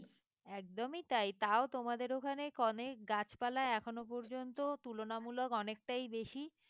একদমই তাই তাও তোমাদের ওখানে অনেক গাছপালা এখনো পর্যন্ত তুলনামূলক অনেকটাই বেশি।